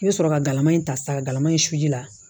I bɛ sɔrɔ ka galama in ta sa galama in suji la